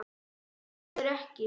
Það verður ekki.